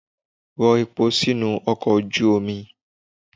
Rọ epo sínú ọkọ̀ ojú omi!